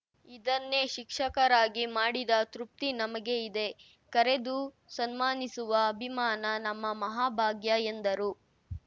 ಇದನ್ನೇ ಶಿಕ್ಷಕರಾಗಿ ಮಾಡಿದ ತೃಪ್ತಿ ನಮಗೆ ಇದೆ ಕರೆದು ಸನ್ಮಾನಿಸುವ ಅಭಿಮಾನ ನಮ್ಮ ಮಹಾಭಾಗ್ಯ ಎಂದರು